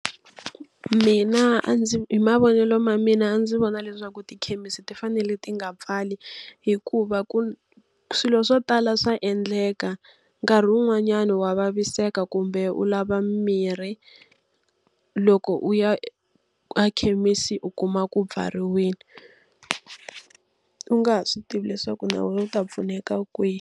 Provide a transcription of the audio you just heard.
Mina a ndzi hi mavonelo ma mina ndzi vona leswaku tikhemisi ti fanele ti nga pfali, hikuva swilo swo tala swa endleka. Nkarhi wun'wanyani wa vaviseka kumbe u lava mimirhi, loko u ya ekhemisi u kuma ku pfariwile u nga swi tivi leswaku na wena u ta pfuneka kwihi.